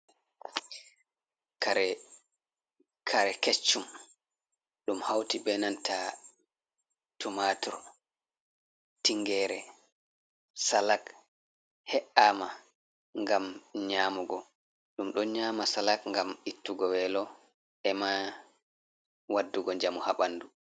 Kare kecchum, ɗum hauti ɓe nanta tumatur, tingere, salak he’ama ngam nyamugo, ɗum ɗon nyama salak ngam ittugo welo ema waddugo njamu ha ɓandu.